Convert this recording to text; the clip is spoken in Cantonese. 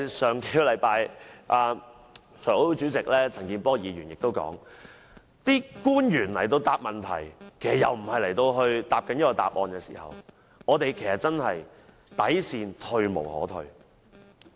上星期財委會主席陳健波議員也提及，官員回答問題時答非所問，議員的底線退無可退。